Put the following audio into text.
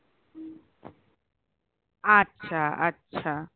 আচ্ছা আচ্ছা